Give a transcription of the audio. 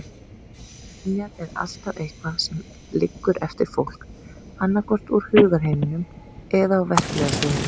Minjar er alltaf eitthvað sem liggur eftir fólk, annaðhvort úr hugarheiminum eða á verklega sviðinu.